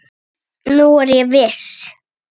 Nú er ég viss!